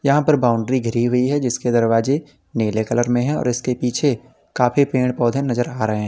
यहां पर बाउंड्री घिरी हुई है जिसके दरवाजे नीले कलर में है और इसके पीछे काफी पेड़ पौधे नजर आ रहे हैं।